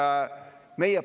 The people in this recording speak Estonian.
See on tühi jutt.